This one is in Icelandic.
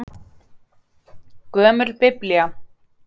Gömul Biblía.